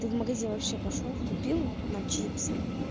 ты в магазин вообще пошёл купил нам чипсы